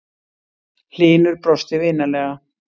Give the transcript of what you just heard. Hlynur brosti vinalega.